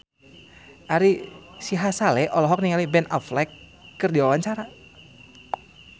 Ari Sihasale olohok ningali Ben Affleck keur diwawancara